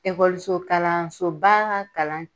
Ekɔliso kalansoba kalan